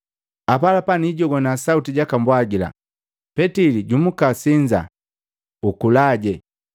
Apalapa nijijogwana sauti jakambwagila, ‘Petili jumuka, usinza, ukulaje.’